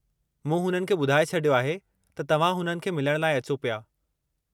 मूं हुननि खे ॿुधाए छडि॒यो आहे त तव्हां हुननि खे मिलण लाइ अचो पिया।